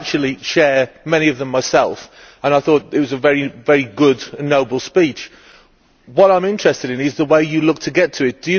I actually share many of them myself, and I thought it was a very good and noble speech. What I am interested in is the way you intend to achieve it.